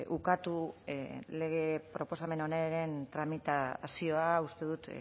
ukatu lege proposamen honen tramitazioa uste dut